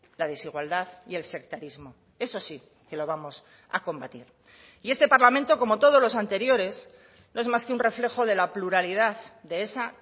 la desigualdad y el sectarismo eso sí que lo vamos a combatir y este parlamento como todos los anteriores no es más que un reflejo de la pluralidad de esa